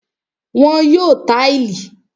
Wọ́n yóò táìlì